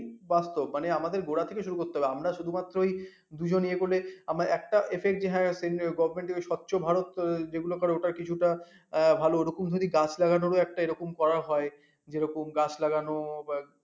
বাস্তব মানে আমাদের গোড়া থেকে শুরু করতে হবে আমরা শুধুমাত্র ওই দুজন ইয়ে করে আমরা একটা affect govt. এর ওই স্বচ্ছ ভারত যেগুলা করে ওটা কিছু টা ভাল ওরকম হলে গাছ লাগানোর ও একটা এরকম করা হয় যেরকম গাছ লাগানো হয়